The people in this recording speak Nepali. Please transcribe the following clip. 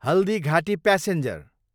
हल्दीघाटी प्यासेन्जर